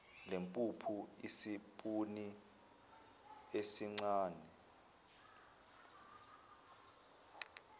lwempuphu isipuni esincane